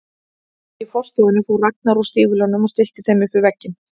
Í forstofunni fór Ragnar úr stígvélunum og stillti þeim upp við vegginn.